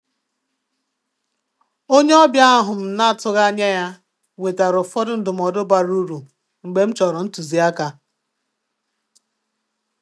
Onye ọbịa ahụ m na-atụghị anya ya wetara ụfọdụ ndụmọdụ bara uru mgbe m chọrọ ntuzi aka.